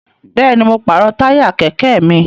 Bẹ́ẹ̀ni, mo pàrọ̀ táyà kẹ̀kẹ́ mi